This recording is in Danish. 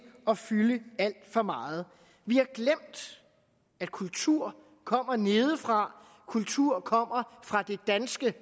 at fylde alt for meget vi har glemt at kulturen kommer nedefra at kulturen kommer fra det danske